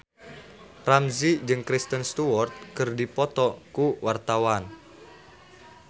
Ramzy jeung Kristen Stewart keur dipoto ku wartawan